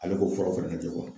Ale k'o furaw fɛnɛ lajɛ